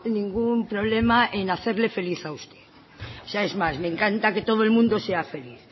ningún problema en hacerle feliz a usted es más me encanta que todo el mundo sea feliz